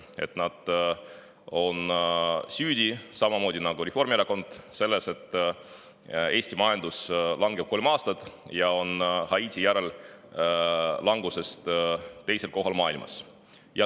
Nii et nad on samamoodi nagu Reformierakond süüdi selles, et Eesti majandus langeb kolmandat aastat ja on Haiti järel languse poolest teisel kohal maailmas.